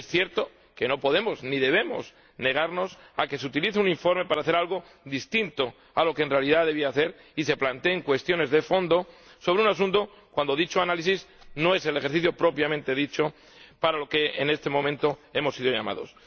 Es cierto que no podemos, ni debemos, negarnos a que se utilice un informe para hacer algo distinto de lo que en realidad debía hacer y se planteen cuestiones de fondo sobre un asunto cuando dicho análisis no es el ejercicio propiamente dicho para lo que en este momento hemos sido llamados.